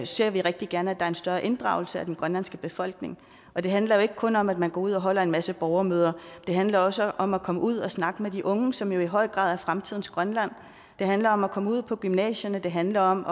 ser vi rigtig gerne at der er større inddragelse af den grønlandske befolkning og det handler jo ikke kun om at man går ud og holder en masse borgermøder det handler også om at komme ud og snakke med de unge som i høj grad er fremtidens grønland det handler om at komme ud på gymnasierne det handler om